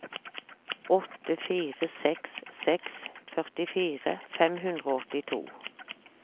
åtte fire seks seks førtifire fem hundre og åttito